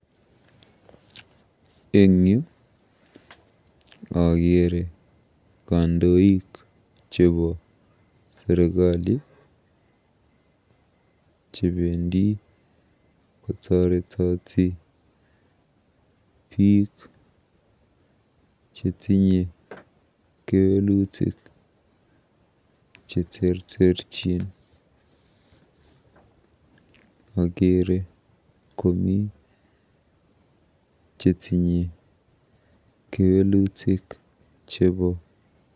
Eng yu akeere kandoik chebo serikali chebendi kotoretoti biik cheterterchin chetinye kewelutik cheterterchin. Akeere komi chetinye kewelutik chebo